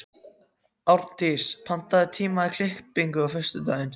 Árndís, pantaðu tíma í klippingu á föstudaginn.